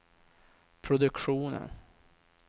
produktionen